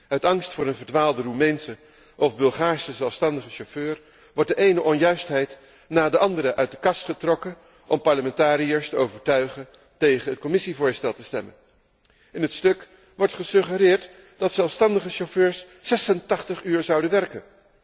Uit angst voor een verdwaalde Roemeense of Bulgaarse zelfstandige chauffeur wordt de ene onjuistheid na de andere uit de kast getrokken om parlementariërs te overtuigen tegen het Commissievoorstel te stemmen. In het stuk wordt gesuggereerd dat zelfstandige chauffeurs 86 uur zouden werken.